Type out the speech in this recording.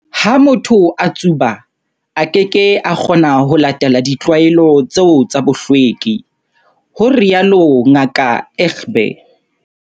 Ha motho a tsuba, a keke a kgona ho latela ditlwaelo tseo tsa bohlweki, ho rialo Ngaka Egbe.